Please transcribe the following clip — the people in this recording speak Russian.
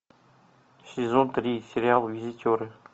сезон три сериал визитеры